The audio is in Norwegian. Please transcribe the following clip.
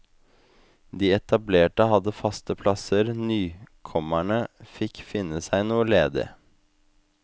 De etablerte hadde faste plasser, nykommerne fikk finne seg noe ledig.